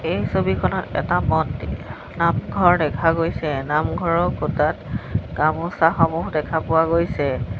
এই ছবিখনত এটা মন্দি নামঘৰ দেখা গৈছে নামঘৰৰ খুঁটাত গামোচাসমূহ দেখা পোৱা গৈছে।